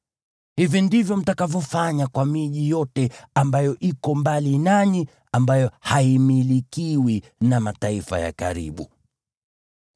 Hivi ndivyo mtakavyofanya kwa miji yote ambayo iko mbali nanyi, ambayo haimilikiwi na mataifa ya karibu.